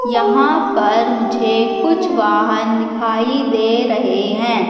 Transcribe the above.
यहां पर मुझे कुछ वाहन दिखाई दे रहें हैं।